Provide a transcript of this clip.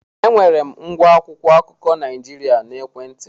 Enwere m ngwa akwụkwọ akụkọ Naịjirịa n'ekwentị m.